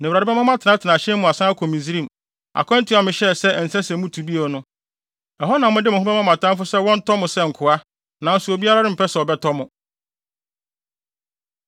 Na Awurade bɛma mo atenatena ahyɛn mu asan akɔ Misraim, akwantu a mehyɛɛ sɛ ɛnsɛ sɛ mutu bio no. Ɛhɔ na mode mo ho bɛma mo atamfo sɛ wɔntɔ mo sɛ nkoa, nanso obiara rempɛ sɛ ɔbɛtɔ mo.